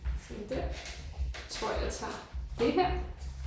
Sådan der. Jeg tror jeg tager det her